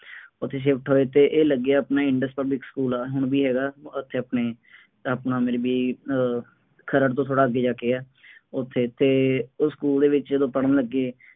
ਉੱਥੇ shift ਹੋਏ ਅਤੇ ਇਹ ਲੱਗੇ ਆਪਣੇ ਇੰਡਸ ਪਬਲਿਕ ਸਕੂਲ ਹੈ, ਹੁਣ ਵੀ ਹੈਗਾ, ਉੱਥੇ ਆਪਣੇ, ਆਪਣਾ ਮੇਰੇ ਵੀਰ ਅਹ ਖਰੜ ਤੋਂ ਥੋੜ੍ਹਾ ਅੱਗੇ ਜਾ ਕੇ ਹੈ, ਉੱਥੇ ਅਤੇ ਉਹ ਸਕੂਲ ਦੇ ਵਿੱਚ ਜਦੋਂ ਪੜ੍ਹਨ ਲੱਗੇ,